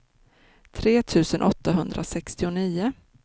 tre tusen åttahundrasextionio